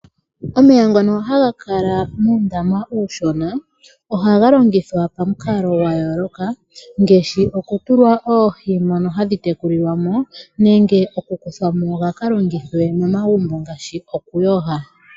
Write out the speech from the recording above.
Omeya ngono ha ga kala muundama uushona ohaga longithwa pamikalo dha yooloka ngaashi okutulwa oohi mono hadhi tekulilwa mo nenge okukuthwa mo ga ka longithwe momagumbo ngaashi okuyoga.